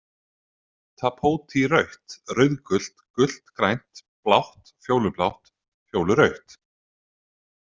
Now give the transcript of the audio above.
Tapótí Rautt, rauðgult, gult grænt, blátt, fjólublátt, fjólurautt!